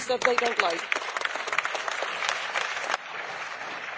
Thank you very much for that very important statement.